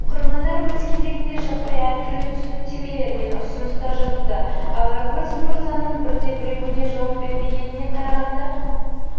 оқырмандар өз кезегінде жаппай әртүрлі түсініктемелер мен ұсыныстар жазуда алагөзов мырзаның бірде-біреуіне жауап бермегеніне қарағанда